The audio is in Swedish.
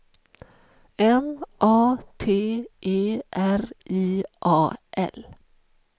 M A T E R I A L